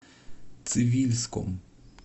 цивильском